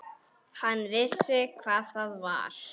Hann vissi hvað það var.